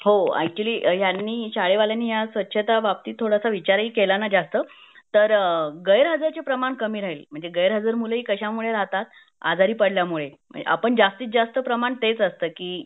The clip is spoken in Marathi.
हो अॅक्चुअल्ली ह्यांनी शाळे वाल्यांनी स्वच्छता बाबतीत थोडा विचार ही केला ना जास्त तर गैरहजर चे प्रमाण कामी राहील म्हणजे गैरहजर मूल कशामुळे राहतात आजारी पडल्यामुळे जास्तीत जास्त प्रमाण तेच असतं की